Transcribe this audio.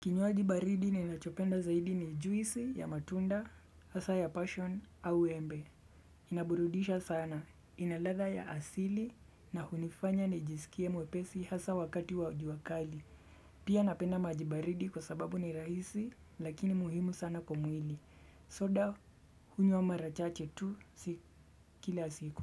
Kinywaji baridi ninachopenda zaidi ni juisi ya matunda, hasa ya passion au embe. Inaburudisha sana, inalada ya asili na hunifanya nijisikie mwepesi hasa wakati wa juakali. Pia napenda majibaridi kwa sababu ni rahisi lakini muhimu sana kwa mwili. Soda, hunywa marachache tu kila siku.